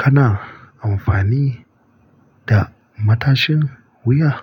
Kana amfani da matashin wuya?